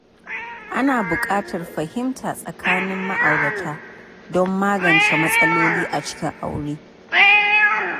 Ana buƙatar fahimta tsakanin ma'aurata don magance matsaloli a cikin aure.